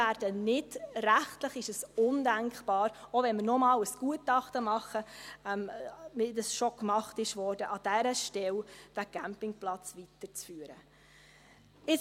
Rechtlich ist es undenkbar – auch wenn wir noch einmal ein Gutachten machen, wie dies schon gemacht wurde –, den Campingplatz an dieser Stelle weiterzuführen.